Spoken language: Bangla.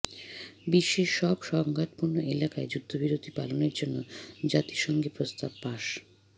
বিশ্বের সব সংঘাতপূর্ণ এলাকায় যুদ্ধবিরতি পালনের জন্য জাতিসংঘে প্রস্তাব পাস